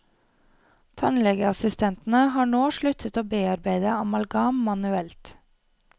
Tannlegeassistentene har nå sluttet å bearbeide amalgam manuelt.